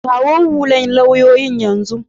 Kawo hullan lauyoyin yanzun.